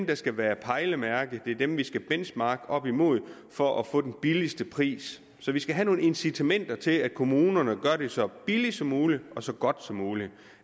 der skal være pejlemærker og det er dem vi skal benchmarke op imod for at få den billigste pris så vi skal have nogle incitamenter til at kommunerne gør det så billigt som muligt og så godt som muligt